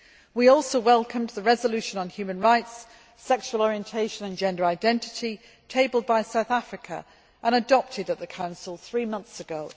We also welcomed the resolution on human rights, sexual orientation and gender identity tabled by South Africa and adopted at the Council three months ago.